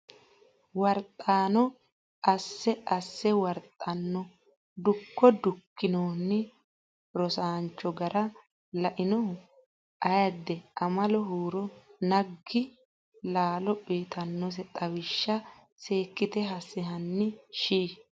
warxanno Asse Asse warxanno Dukko Dukkanino rosaancho gara lainohu Aade Amalo huuro naggi Laalo uytinose xawishsha seekkite asse Hanni shii !